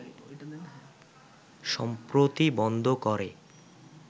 সম্প্রতি বন্ধ করে